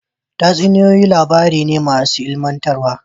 Tatsuniyoyi labaran tarihi ne masu ilmantarwa